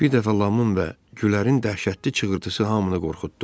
Bir dəfə Lamın və Gülərin dəhşətli çığırtısı hamını qorxutdu.